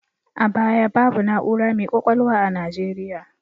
A baya, babu na'ura mai ƙwaƙwalwa a Nigeriya.